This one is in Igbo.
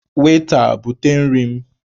Weta, bute nri m!